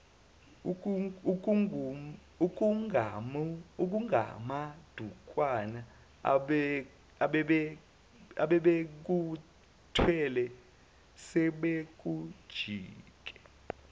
okungamadukwana abebekuthwele sebekujike